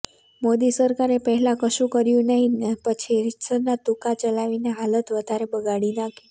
મોદી સરકારે પહેલાં કશું કર્યું નહીં ને પછી રીતસરના તુક્કા ચલાવીને હાલત વધારે બગાડી નાંખી